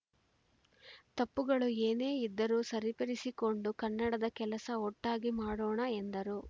ತಪ್ಪುಗಳು ಏನೇ ಇದ್ದರೂ ಸರಿಪಡಿಸಿಕೊಂಡು ಕನ್ನಡದ ಕೆಲಸ ಒಟ್ಟಾಗಿ ಮಾಡೋಣ ಎಂದರು